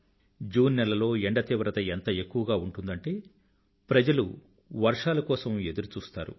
June నెలలో ఏండ తీవ్రత ఎంత ఎక్కువగా ఉంటుందంటే ప్రజలు వర్షాల కోసం ఎదురుచూస్తారు